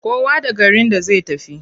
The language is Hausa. Kowa da garin da zai tafi.